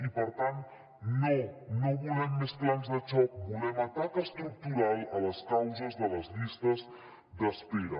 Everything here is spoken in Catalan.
i per tant no no volem més plans de xoc volem atac estructural a les causes de les llistes d’espera